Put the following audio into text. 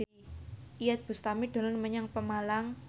Iyeth Bustami dolan menyang Pemalang